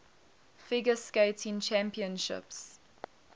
figure skating championships